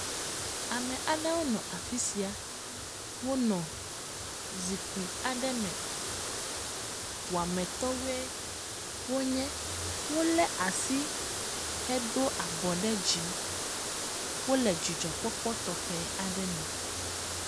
Ame aɖewo nɔ afisia, wo nɔ zikpui aɖe me, wɔametɔwoe wonye. Wole asi hedo abɔ ɖe dzi. Wole dzidzɔkpɔkpɔ tɔxɛ aɖe me.